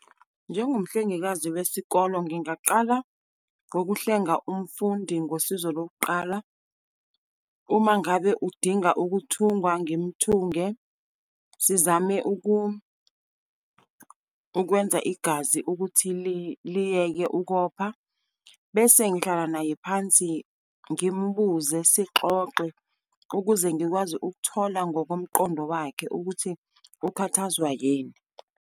Njengomhlengekazi wesikolo, ngingaqala ngokuhlenga umfundi ngosizo lokuqala. Uma ngabe udinga ukuthungwa, ngimthunge. Sizame ukwenza igazi ukuthi liyeke ukopha. Bese ngihlala naye phansi, ngimbuze, sixoxe, ukuze ngikwazi ukuthola ngokomqondo wakhe ukuthi ukhathazwa yini.